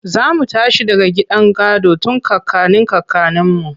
Za mu tashi daga gidan gado tun kakannin kakanninmu.